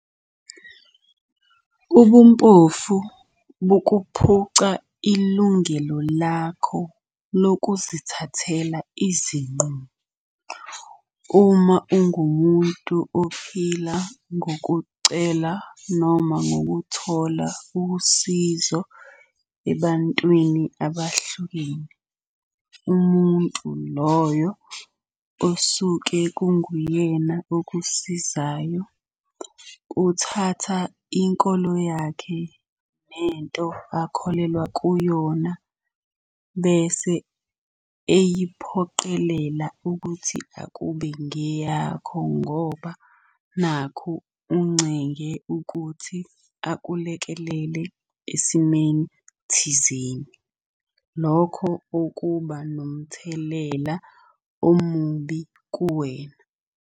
Ubumpofu bukuphuca ilungelo lakho lokuzithathela izinqumo uma ungumuntu ophila ngokucela noma ngokuthola usizo ebantwini abahlukene. Umuntu loyo osuke kunguyena okusizayo, kuthatha inkolo yakhe nento akholelwa kuyona, bese eyiphoqelela ukuthi akube ngeyakho ngoba nakhu uncenge ukuthi akulekelele esimeni thizeni. Lokho okuba nomthelela omubi kuwena.